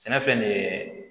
Sɛnɛfɛn de ye